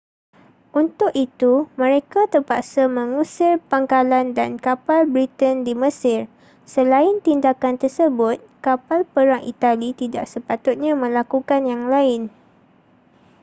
untuk itu mereka terpaksa mengusir pangkalan dan kapal britain di mesir selain tindakan tersebut kapal perang itali tidak sepatutnya melakukan yang lain